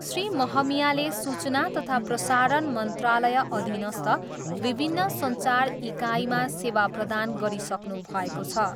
श्री महमियाले सूचना तथा प्रसारण मन्त्रालय अधीनस्थ विभिन्न सञ्चार इकाइमा सेवा प्रदान गरिसक्नुभएको छ।